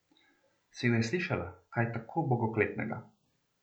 Si kdaj slišala kaj tako bogokletnega?